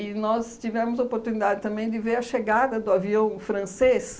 nós tivemos a oportunidade também de ver a chegada do avião francês